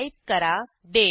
type करा दाते